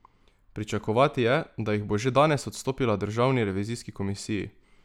Pričakovati je, da jih bo že danes odstopila državni revizijski komisiji.